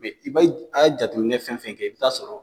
i be a ye jateminɛ fɛn fɛn kɛ i bi taa sɔrɔ